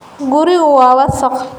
Gurigu waa wasakh.